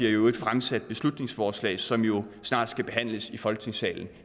i øvrigt fremsat et beslutningsforslag som jo snart skal behandles i folketingssalen